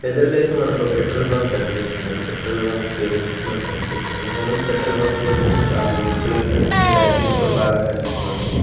ఎదురుగా అయితే మనకో పెట్రోల్ బంక్ కనిపిస్తుందండి పెట్రోల్ బంక్ పేరు వచ్చేసి మనకి కనిపించట్లే కానీ పెట్రోల్ బంక్ చూడడానికి చాలా బ్యూటిఫుల్ గా కనిపిస్తుంది లైటింగ్ తో బాగా కనిపిస్తుందండి.